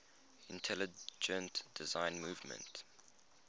intelligent design movement